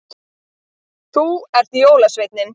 Þú ert jólasveinninn